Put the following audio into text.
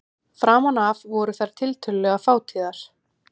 Framan af voru þær tiltölulega fátíðar.